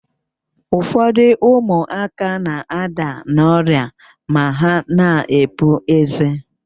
Ụfọdụ ụmụaka na-ada n' ọrịa ma ha na-epu eze.